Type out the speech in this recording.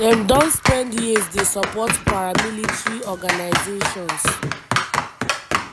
dem don spend years dey support paramilitary organisations